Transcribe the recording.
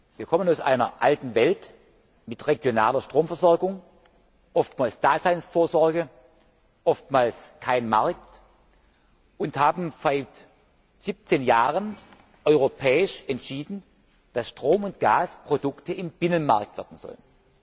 Wir kommen aus einer alten Welt mit regionaler Stromversorgung oftmals Daseinsvorsorge, oftmals ohne Markt und haben seit 17 Jahren europäisch entschieden, dass Strom und Gas Produkte im Binnenmarkt werden sollen.